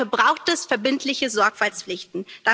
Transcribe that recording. Dafür braucht es verbindliche Sorgfaltspflichten.